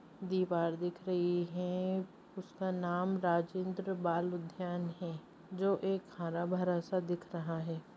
दीवार दिख रही है उसका नाम राजेंद्र बाल उद्यान है जो एक हरा-भरा सा दिख रहा है।